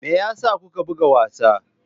Me yasa kuka buga wasa?